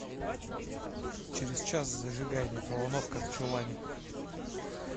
через час зажигай микроволновка в чулане